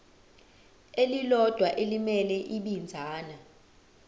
elilodwa elimele ibinzana